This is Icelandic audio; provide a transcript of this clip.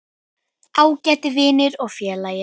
Ágæti vinur og félagi.